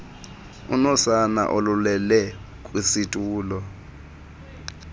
unosana olulele kwisitulo